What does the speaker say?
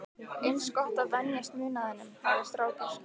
Eins gott að venjast munaðinum, hafði strákur